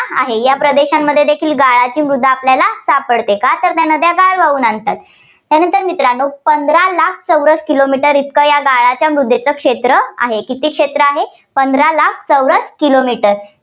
आहे. या प्रदेशांमध्ये देखील गाळाची मृदा आपल्याला सापडते. का तर त्या गाळा वाहून आणतात. त्यानंतर मित्रांनो पंधरा लाख चौरस kilo meter इतकं या गाळाच्या मृदेचं क्षेत्र आहे. किती क्षेत्र आहे पंधरा लाख चौरस kilo meter